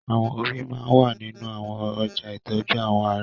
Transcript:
Awọn òrí máà wà ninu awọn ọja itọju awọ ara